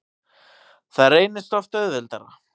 Það reynist oft auðveldara.